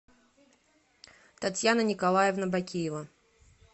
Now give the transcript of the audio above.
татьяна николаевна бакиева